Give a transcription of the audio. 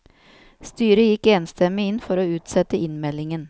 Styret gikk enstemmig inn for å utsette innmeldingen.